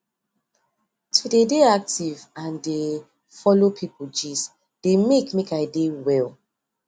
to dey dey active and dey follow people gist dey make make i dey well